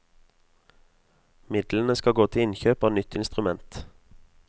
Midlene skal gå til innkjøp av nytt instrument.